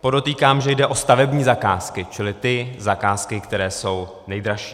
Podotýkám, že jde o stavební zakázky, čili ty zakázky, které jsou nejdražší.